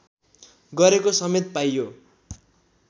गरेको समेत पाइयो